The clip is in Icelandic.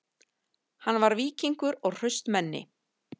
Hann var víkingur og hraustmenni